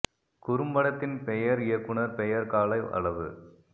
குறும்படத்தின் பெயர் இயக்குனர் பெயர் கால அளவு